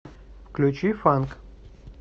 включи фанк